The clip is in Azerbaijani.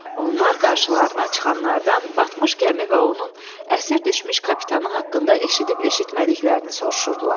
Onlar qarşılarına çıxanlardan batmış gəmi və onun əsir düşmüş kapitanı haqqında eşidib-eşitmədiklərini soruşurdular.